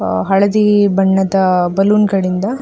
ಹಳದಿ ಬಣ್ಣದ ಬಲೂನ್ ಗಳಿಂದ -